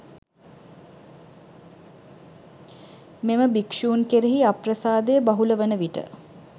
මෙම භික්ෂූන් කෙරෙහි අප්‍රසාදය බහුල වනවිට